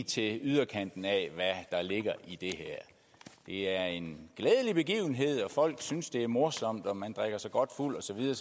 til yderkanten af hvad der ligger i det her det er en glædelig begivenhed og folk synes det er morsomt og man drikker sig godt fuld og så videre